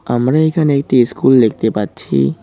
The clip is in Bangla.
আমরা এখানে একটি ইস্কুল দেখতে পাচ্ছি।